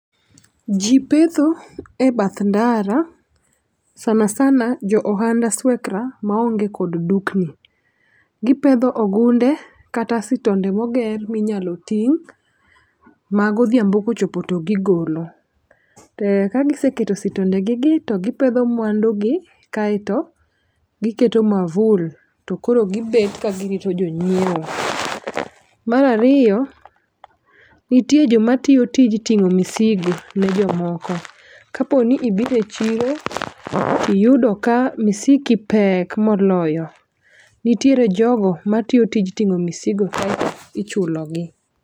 Jii petho e bath ndara sanasana jo ohand aswekra ma onge kod dukni. Gipedho ogunde kata sitonde moger minyalo ting' ma godhiambo kochopo to gigolo. To ka giseketo sitonde gigi to gipedho mwandu gi kaeto gi keto mavul to koro gibet ka girito jonyiewo .Mar ariyo nitie jomatiyo tij ting'o misigo ne jomoko. Kaponi ibudhe chiwo iyudo ka misiki pek moloyo nitiere jogo matiyo tij ting'o misigo kaeto ichulo gi.